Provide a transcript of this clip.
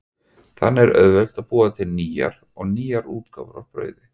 Þannig er auðvelt að búa til nýjar og nýjar útgáfur af brauði.